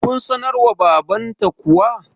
kun sanar wa babanta kuwa?